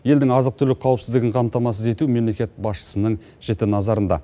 елдің азық түлік қауіпсіздігін қамтамасыз ету мемлекет басшысының жіті назарында